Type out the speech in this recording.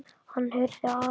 Hann heyrði að